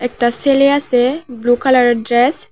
একটা সেলে আসে ব্লু কালারের ড্রেস ।